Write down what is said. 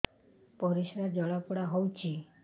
ପରିସ୍ରା ଜଳାପୋଡା ହଉଛି